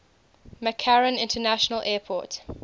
mccarran international airport